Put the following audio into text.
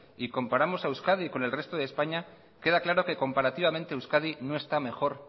y comparamos a euskadi con el resto de españa queda claro que comparativamente euskadi no está mejor